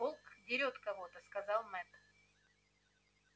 волк дерёт кого-то сказал мэтт